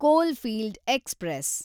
coalfield express